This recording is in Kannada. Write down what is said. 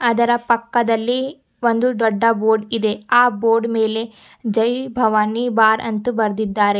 ಅದರ ಪಕ್ಕದಲ್ಲಿ ಒಂದು ದೊಡ್ಡ ಬೋರ್ಡ್ ಇದೆ ಆ ಬೋರ್ಡ್ ಮೇಲೆ ಜೈ ಭವಾನಿ ಬಾರ್ ಅಂತು ಬರ್ದಿದ್ದಾರೆ.